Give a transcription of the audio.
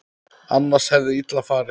Annars hefði illa farið.